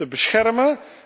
te beschermen